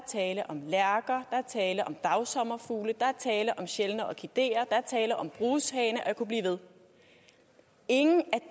tale om lærker er tale om dagsommerfugle der er tale om sjældne orkideer der er tale om brushaner og jeg kunne blive ved ingen af